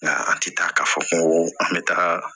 Nka an ti taa ka fɔ ko an bɛ taga